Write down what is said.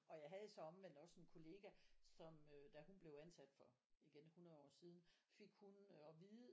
Og jeg havde så omvendt også en kollega som da hun blev ansat for igen 100 år siden fik hun at vide